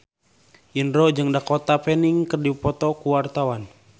Indro jeung Dakota Fanning keur dipoto ku wartawan